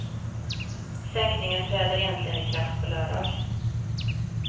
Sänkningen träder egentligen i kraft på lördag.